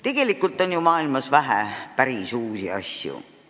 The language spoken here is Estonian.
Tegelikult on ju maailmas vähe päris uusi asju.